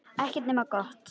Ekkert nema gott.